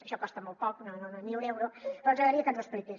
això costa molt poc ni un euro però ens agradaria que ens ho expliqués